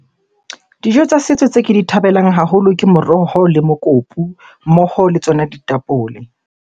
Dijo tsa setso tse ke di thabelang haholo ke moroho le mokopu mmoho le tsona ditapole.